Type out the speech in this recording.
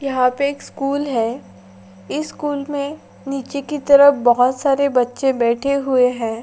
यहाँ पे एक स्कूल है स्कूल में नीचे की तरफ बहुत सारे बच्चे बैठे हुए हैं।